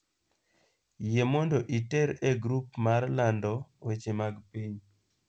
Yie mondo iter e grup mar lando weche mag piny